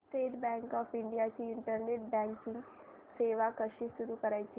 state Bank of India ची internet banking सेवा कशी सुरू करायची